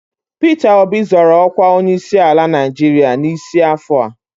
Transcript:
Pita Obi zọrọ ọkwa onyeisiala Naịjirịa n'isi afọ a